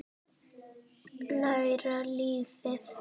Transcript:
Læra lífið.